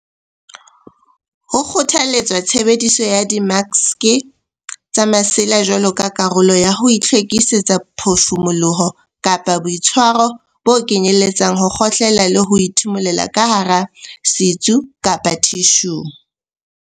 Ho kgothaletswa tshebediso ya dimaske tsa masela jwalo ka karolo ya ho hlwekisa phefumoloho kapa boitshwaro bo kenyeletsang ho kgohlela le ho ithimulela ka hara setsu kapa thishung.